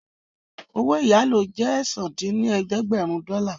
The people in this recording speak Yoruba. Owó ìyálò jẹ́ ẹ̀sán dín ní ẹ̀ẹ́dẹ́gbẹ́rún dọ́là